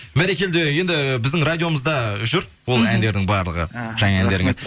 бәрекелді енді біздің радиомызда жүр ол әндердің барлығы жаңа әндеріңіз